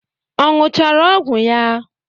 Ọ ṅụchara ọgwụ ya?